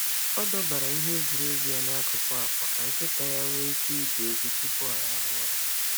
Ọ dọbara ihe egwuregwu n’akụkụ akwa ka nkịta ya nwee ike igwu egwu tupu ọ rahụ ụra.